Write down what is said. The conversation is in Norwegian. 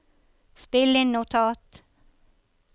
spill inn notat